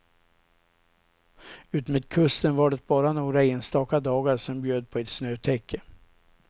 Utmed kusten var det bara några enstaka dagar som bjöd på ett snötäcke.